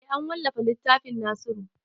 Eh an wallafa littafin nasiru